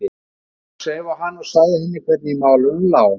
Jónsi sveif á hana og sagði henni hvernig í málunum lá.